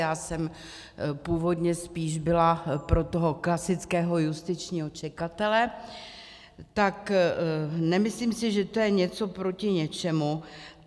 Já jsem původně spíš byla pro toho klasického justičního čekatele, tak nemyslím si, že to je něco proti něčemu.